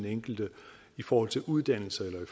den enkelte i forhold til uddannelse eller i